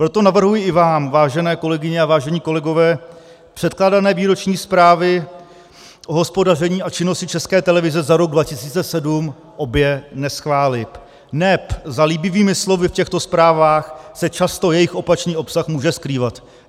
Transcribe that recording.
Proto navrhuji i vám, vážené kolegyně a vážení kolegové, předkládané výroční zprávy o hospodaření a činnosti České televize za rok 2017 obě neschválit, neb za líbivými slovy v těchto zprávách se často jejich opačný obsah může skrývat.